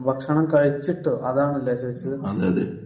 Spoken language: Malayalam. ഓക്കേ ഓക്കേ ഭക്ഷണം കഴിച്ചിട്ട് അതാണല്ലേ ചോദിച്ചത്